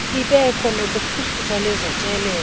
ibekho nakuphuhliso lwezotyelelo